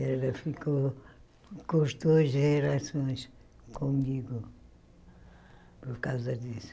Ela ficou cortou as relações comigo por causa disso.